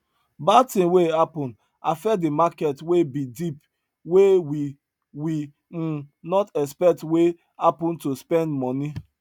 bad thing wey happen affect the market wey be dip wey we we um not expect wey happen to spend money